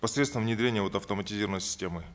посредством внедрения вот автоматизированной системы